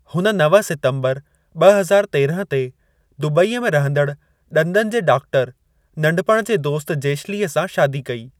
हुन नव सितम्बर ॿ हज़ार तेरहं ते दुबईअ में रहंदड़ ॾंदनि जे डाक्टर, नंढपण जे दोस्तु जेशलीअ सां शादी कई।